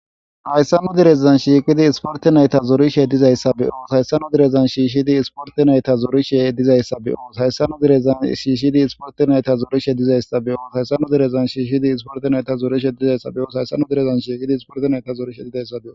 Hayssa nu derezan shiqqidi issporte nayita zorishe dizzayisa be'os hayissa nu derezan shishid essporte nayita zorishin beyos.